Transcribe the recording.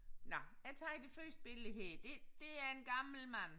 Nåh jeg tager det første billede her det det er en gammel mand